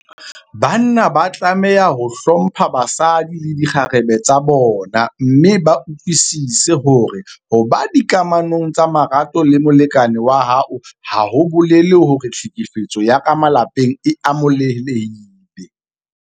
Banna ba tlameha ho hlompha basadi le dikgarebe tsa bona mme ba utlwisise hore ho ba dikamanong tsa marato le molekane wa hao ha ho bolele hore tlhekefetso ya ka malapeng e amohelehile.